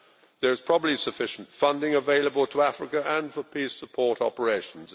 There is probably sufficient funding available to Africa and for peace support operations.